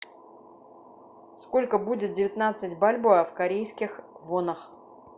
сколько будет девятнадцать бальбоа в корейских вонах